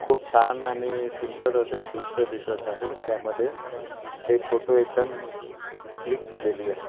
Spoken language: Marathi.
खूप छान आणि सुंदर असे दृश्य दिसत आहे त्यामध्ये ते फोटो एकदम क्लिक केलेली आहे.